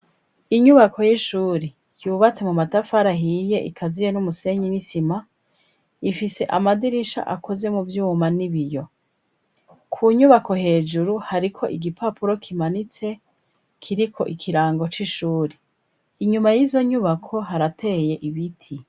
Inyubako y'ishuri yubatse mu matafari ahiye ikaziye n'umusenyi n'isima, ifise amadirisha akoze mu vyuma n'ibiyo. Ku nyubako hejuru, hariko igipapuro kimanitse kiriko ikirango c'ishuri. Inyuma y'izo nyubako harateye ibiti.